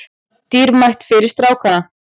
Dýrmætt fyrir strákana